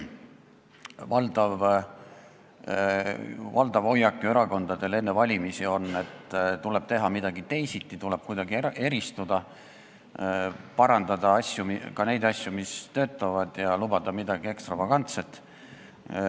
Erakondade valdav hoiak enne valimisi on ju see, et tuleb teha midagi teisiti, tuleb kuidagi eristuda, tuleb parandada ka neid asju, mis töötavad, ja lubada midagi ekstravagantset.